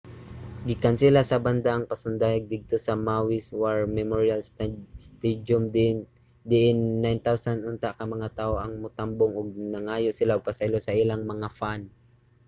gikansela sa banda ang pasundayag didto sa maui's war memorial stadium diin 9000 unta ka mga tawo ang motambong ug nangayo sila og pasaylo sa ilang mga fan